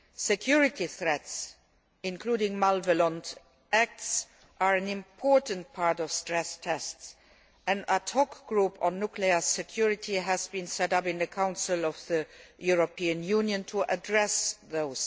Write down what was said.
Security threats, including malevolent acts, are an important part of stress tests, and a discussion group on nuclear security has been set up in the Council of the European Union to address these.